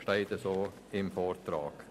Dies steht so im Vortrag.